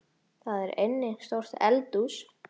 Þar er einnig stórt eldhús.